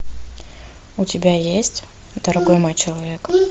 у тебя есть дорогой мой человек